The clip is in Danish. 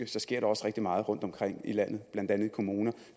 der sker rigtig meget rundtomkring i landet blandt andet i kommunerne